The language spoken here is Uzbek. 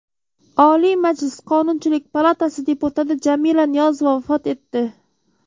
Oliy Majlis Qonunchilik palatasi deputati Jamila Niyozova vafot etdi .